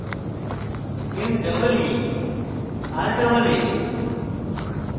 meeraa